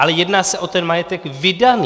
Ale jedná se o ten majetek vydaný.